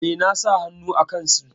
E, na sa hannu a kansu.